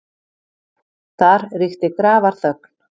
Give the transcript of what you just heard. Þar ríkti grafarþögn.